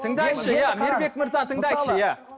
тыңдаңызшы иә мейірбек мырза тыңдайықшы иә